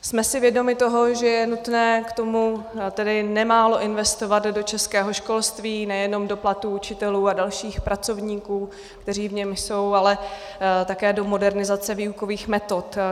Jsme si vědomi toho, že je nutné k tomu tedy nemálo investovat do českého školství, nejenom do platů učitelů a dalších pracovníků, kteří v něm jsou, ale také do modernizace výukových metod.